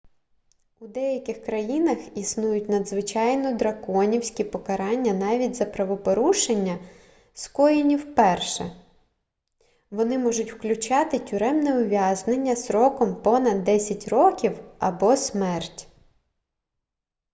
у деяких країнах існують надзвичайно драконівські покарання навіть за правопорушення скоєні вперше вони можуть включати тюремне ув'язнення строком понад 10 років або смерть